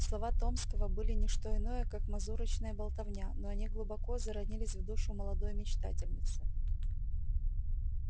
слова томского были ни что иное как мазурочная болтовня но они глубоко заронились в душу молодой мечтательницы